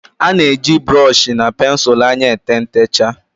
a na-eji brooshi na pensụl anya ete ntechaa